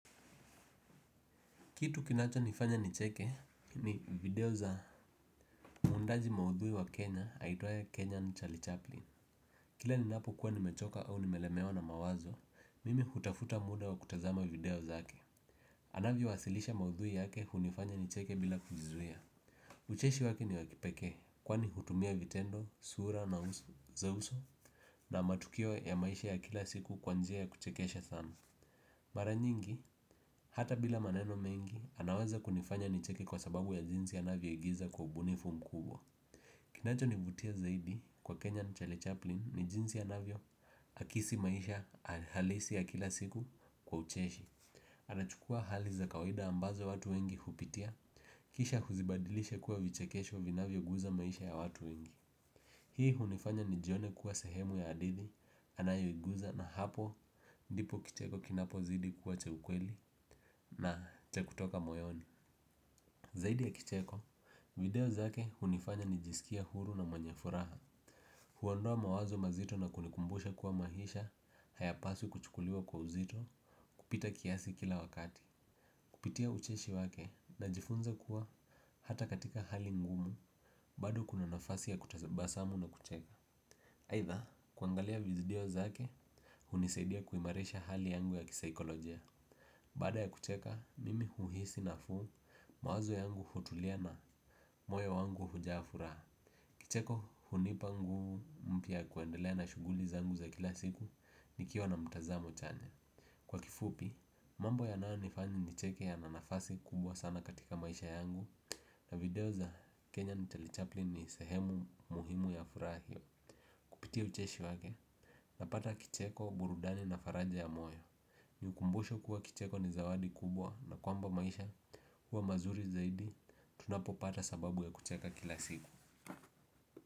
Kitu kinacho nifanya nicheke ni video za muundaji maudhui wa Kenya, aitwaye Kenyan Charlie Chaplin. Kila ninapokuwa nimechoka au nimelemewa na mawazo mimi hutafuta muda wa kutazama video zake anavyowasilisha maudhui yake hunifanya nicheke bila kujizuia ucheshi wake ni wa kipekee kwani hutumia vitendo, sura za uso na matukio ya maisha ya kila siku kwa njia ya kuchekesha sana. Mara nyingi, hata bila maneno mengi, anaweza kunifanya nicheke kwa sababu ya jinsi anavyo igiza kwa ubunifu mkubwa. Kinacho nivutia zaidi kwa Kenyan Chale Chaplin ni jinsi anavyo akisi maisha halisi ya kila siku kwa ucheshi. Anachukua hali za kawaida ambazo watu wengi hupitia. Kisha kuzibadilisha kuwa vichekesho vinavyoguza maisha ya watu wengi. Hii hunifanya nijione kuwa sehemu ya hadithi, anayoiguza na hapo ndiipo kicheko kinapozidi kuwa che ukweli na cha kutoka moyoni. Zaidi ya kicheko, video zake hunifanya nijisikie huru na mwenye furaha. Huondoa mawazo mazito na kunikumbusha kuwa maisha, hayapaswi kuchukuliwa kwa uzito, kupita kiasi kila wakati. Kupitia ucheshi wake najifunza kuwa, hata katika hali ngumu, bado kuna nafasi ya kutasabasamu na kucheka aidha kuangalia video zake hunisaidia kuimarisha hali yangu ya kisaikolojia. Baada ya kucheka, mimi huhisi nafuu, mawazo yangu hutulia na moyo wangu hujaa furaha kicheko hunipa nguvu mpya ya kuendelea na shughuli zangu za kila siku nikiwa na mtazamo chanya. Kwa kifupi mambo yananifanya nicheke yana nafasi kubwa sana katika maisha yangu. Na video za Kenyan charlie chaplin ni sehemu muhimu ya furaha hio kupitia ucheshi wake, napata kicheko, burudani na faraja ya moyo. Ni ukumbusho kuwa kicheko ni zawadi kubwa na kwamba maisha huwa mazuri zaidi tunapo pata sababu ya kucheka kila siku.